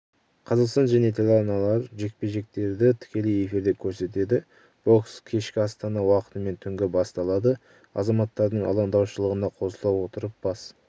қазақстан және телеарналары жекпе-жектердітікелей эфирде көрсетеді бокс кешкі астана уақытымен түнгі басталады азаматтардың алаңдаушылығына қосыла отырып бас